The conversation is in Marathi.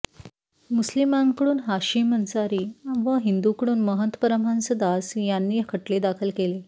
मुस्लिमांकडून हाशिम अन्सारी व हिंदूंकडून महंत परमहंस दास यांनी खटले दाखल केले